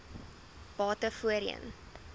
bate voorheen